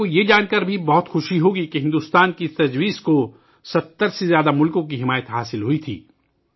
آپ کو یہ جان کر بھی بہت خوشی ہوگی کہ بھارت کی اس تجویز کو 70 سے زیادہ ممالک کی حمایت ملی تھی